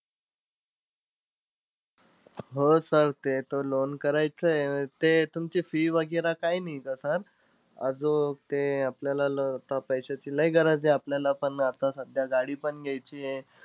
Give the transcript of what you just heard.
हो sir ते तर loan करायचंय. ते तुमची fee वगैरे काही नाहीये का sir? आजूक ते आपल्याला आता पैशाची लय गरज आहे. आपल्याला पण आता सध्या, गाडी पण घ्यायचीय.